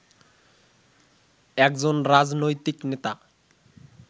একজন রাজনৈতিক নেতা